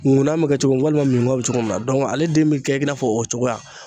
Nkuna bɛ kɛ cogo min na walima minkɔn bɛ cogo min na ale den bɛ kɛ i n'a fɔ o cogoya.